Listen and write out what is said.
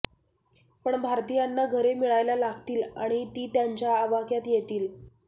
पण भारतीयांना घरे मिळायला लागतील आणि ती त्यांच्या आवाक्यात येतील